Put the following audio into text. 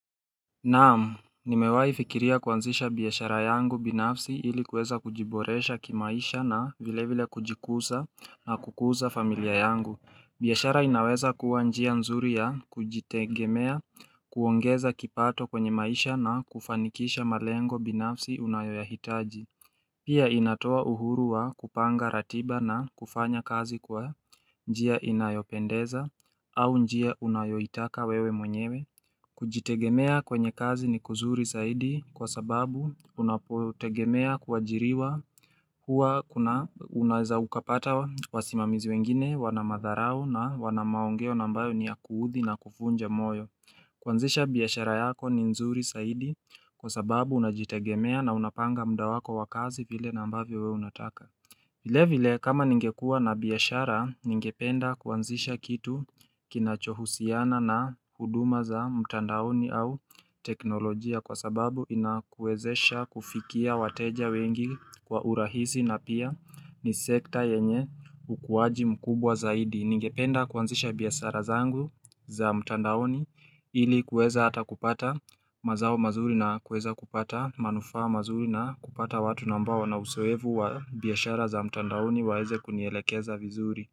Naam, nimewaifikiria kuanzisha biashara yangu binafsi ilikuweza kujiboresha kimaisha na vile vile kujikuza na kukuza familia yangu. Biashara inaweza kuwa njia nzuri ya kujitegemea kuongeza kipato kwenye maisha na kufanikisha malengo binafsi unayoyahitaji. Pia inatoa uhuru wa kupanga ratiba na kufanya kazi kwa njia inayopendeza au njia unayoitaka wewe mwenyewe. Kujitegemea kwenye kazi ni kuzuri saidi kwa sababu unapotegemea kuajiriwa hua unaeza ukapata wa simamizi wengine wanamadharau na wanamaongeo na ambayo ni ya kuudhi na kuvunja moyo kuanzisha biashara yako ni nzuri saidi kwa sababu unajitegemea na unapanga mda wako wakazi vile nambavyo wewe unataka vile vile kama ningekua na biashara ningependa kuanzisha kitu kinachohusiana na huduma za mtandaoni au teknolojia kwa sababu inakuezesha kufikia wateja wengi kwa urahisi na pia ni sekta yenye ukuaji mkubwa zaidi. Ningependa kuanzisha biashara zangu za mtandaoni ili kueza ata kupata mazao mazuri na kuweza kupata manufaa mazuri na kupata watu na ambao wana uzoevu wa biashara za mtandaoni waeze kunielekeza vizuri.